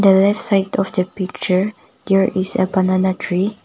a left side of the picture there is a banana tree.